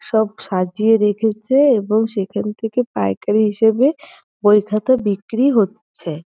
সব সাজিয়ে রেখেছে এবং সেখান থেকে পাইকারি হিসেবে বই খাতা বিক্রি হচ্ছে।